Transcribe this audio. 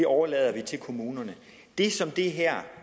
overlader det til kommunerne det som det her